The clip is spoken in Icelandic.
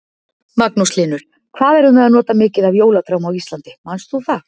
Magnús Hlynur: Hvað erum við að nota mikið af jólatrjám á Íslandi, manst þú það?